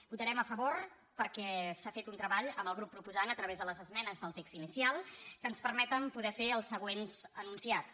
votarem a favor perquè s’ha fet un treball amb el grup proposant a través de les esmenes del text inicial que ens permet poder fer els següents enunciats